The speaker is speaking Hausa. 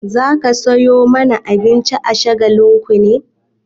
Za ka sayo mana abinci a Shagalinku ne?